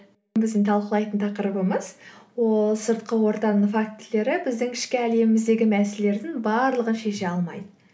біздің талқылайтын тақырыбымыз ол сыртқы ортаның фактілері біздің ішкі әлеміміздегі мәселелердің барлығын шеше алмайды